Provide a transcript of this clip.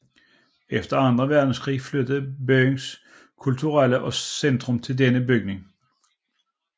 Efter anden verdenskrig flyttede byens kulturelle centrum til denne bygning